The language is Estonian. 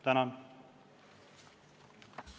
Tänan!